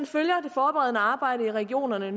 følger det forberedende arbejde i regionerne